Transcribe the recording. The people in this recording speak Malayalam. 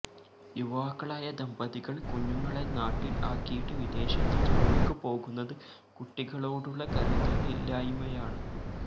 യുവാക്കളായ ദമ്പതികൾ കുഞ്ഞുങ്ങളെ നാട്ടിൽ ആക്കിയിട്ട് വിദേശത്തു ജോലിക്കുപോകുന്നത് കുട്ടികളോടുള്ള കരുതലില്ലായ്മയാണ്